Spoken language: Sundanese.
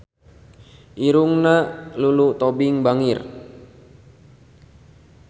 Irungna Lulu Tobing bangir